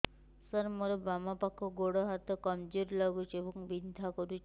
ସାର ମୋର ବାମ ପାଖ ଗୋଡ ହାତ କମଜୁର ଲାଗୁଛି ଏବଂ ବିନ୍ଧା କରୁଛି